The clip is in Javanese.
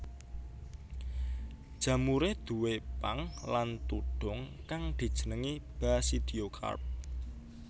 Jamuré duwé pang lan tudhung kang dijenengi basidiokarp